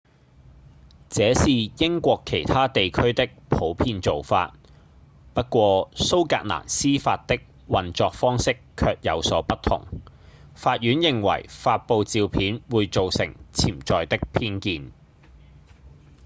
這是英國其他地區的普遍做法不過蘇格蘭司法的運作方式卻有所不同法院認為發布照片會造成潛在的偏見